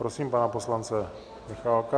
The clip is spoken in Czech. Prosím pana poslance Michálka.